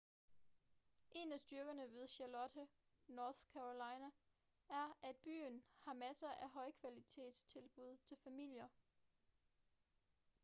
en af styrkerne ved charlotte north carolina er at byen har masser af højkvalitetstilbud til familier